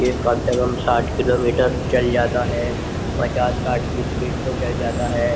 ये कम से कम साठ किलोमीटर चल जाता है पचास साठ की स्पीड से चल जाता है।